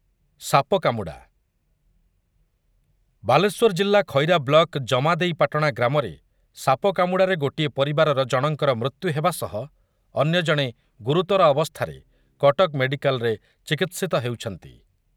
ସାପ କାମୁଡ଼ା, ବାଲେଶ୍ୱର ଜିଲ୍ଲା ଖଇରା ବ୍ଲକ ଜେମାଦେଇପାଟଣା ଗ୍ରାମରେ ସାପ କାମୁଡ଼ାରେ ଗୋଟିଏ ପରିବାରର ଜଣଙ୍କର ମୃତ୍ୟୁ ହେବା ସହ ଅନ୍ୟଜଣେ ଗୁରୁତର ଅବସ୍ଥାରେ କଟକ ମେଡ଼ିକାଲରେ ଚିକିତ୍ସିତ ହେଉଛନ୍ତି ।